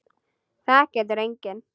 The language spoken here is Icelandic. Það getur enginn.